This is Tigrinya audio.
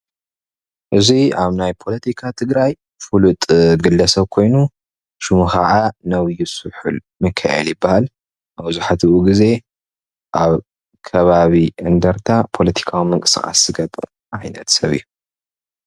እዚ ኣብ ናይ ፖለቲካ ትግራይ ፍሉጥ ግለሰብ ኮይኑ ሽሙ ከዓ ነብዪ ስሑል ምኪኤል ይበሃል። መብዛሕትኡ ግዘ ኣብ ከባቢ እንደርታ ፖለቲካዊ ምንቅስቃስ ዝገብር ዓይነት ሰብ እዩ።